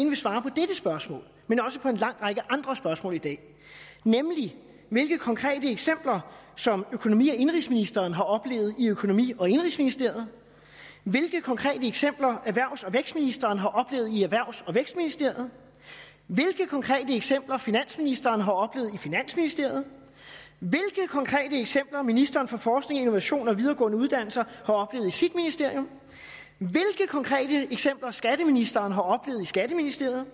vil svare på dette spørgsmål men også på en lang række andre spørgsmål i dag nemlig hvilke konkrete eksempler som økonomi og indenrigsministeren har oplevet i økonomi og indenrigsministeriet hvilke konkrete eksempler erhvervs og vækstministeren har oplevet i erhvervs og vækstministeriet hvilke konkrete eksempler finansministeren har oplevet i finansministeriet hvilke konkrete eksempler ministeren for forskning innovation og videregående uddannelser har oplevet i sit ministerium hvilke konkrete eksempler skatteministeren har oplevet i skatteministeriet